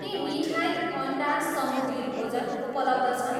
के मिठाई, अन्डा, समुद्री भोजन उपलब्ध छन्?